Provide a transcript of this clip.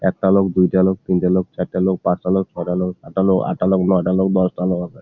একটা লোক দুইটা লোক তিনটা লোক চারটা লোক পাঁচটা লোক ছয়টা লোকসাতটা লোক আটটা লোক নয়টা লোক দশটা লোক আছে।